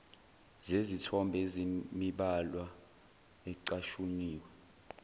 zezithombe ezinemibhalwana ecashuniwe